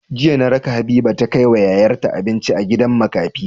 Jiya na raka habiba ta kai wa yayar ta abinci a gidan makafi